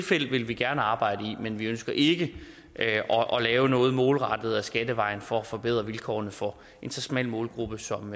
felt vil vi gerne arbejde i men vi ønsker ikke at lave noget målrettet ad skattevejen for at forbedre vilkårene for en så smal målgruppe som